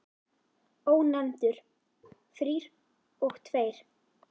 Ónefndur: Þrír og tveir?